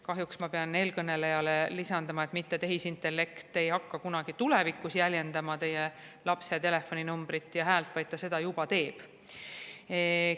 Kahjuks ma pean eelkõneleja lisama, et mitte ei hakka tehisintellekt tulevikus jäljendama teie lapse telefoninumbrit ja häält, vaid ta teeb seda juba.